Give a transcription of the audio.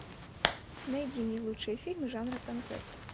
найди мне лучшие фильмы жанра концерт